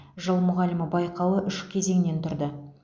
жыл мұғалімі байқауы үш кезеңнен тұрды